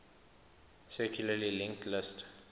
circularly linked list